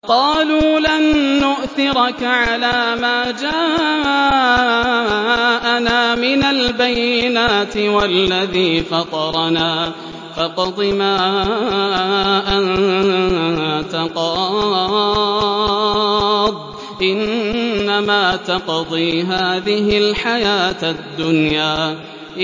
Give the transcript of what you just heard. قَالُوا لَن نُّؤْثِرَكَ عَلَىٰ مَا جَاءَنَا مِنَ الْبَيِّنَاتِ وَالَّذِي فَطَرَنَا ۖ فَاقْضِ مَا أَنتَ قَاضٍ ۖ إِنَّمَا تَقْضِي هَٰذِهِ الْحَيَاةَ الدُّنْيَا